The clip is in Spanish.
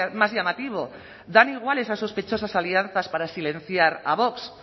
más llamativo dan igual esas sospechosas alianzas para silenciar a vox